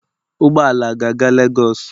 Ụgbọ ala a ga-aga Lagos?